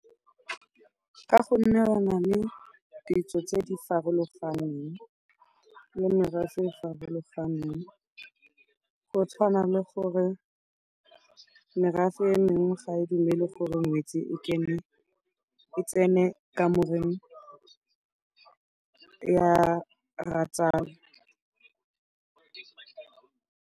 Ka gonne re na le ditso tse di farologaneng le merafe e e farologaneng. Go tshwana le gore merafe e mengwe ga e dumele gore ngwetse e tsene kamoreng ya rratsale.